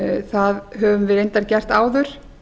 það höfum við reyndar gert áður